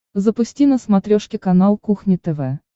запусти на смотрешке канал кухня тв